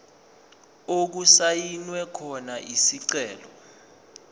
okusayinwe khona isicelo